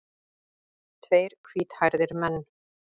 Tveir hvíthærðir menn.